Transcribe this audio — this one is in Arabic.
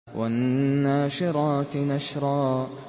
وَالنَّاشِرَاتِ نَشْرًا